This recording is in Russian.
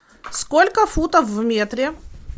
сколько футов в метре